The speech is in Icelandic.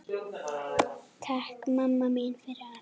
Takk mamma mín fyrir allt.